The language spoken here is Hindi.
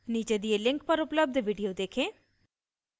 नीचे दिए link पर उपलब्ध video देखें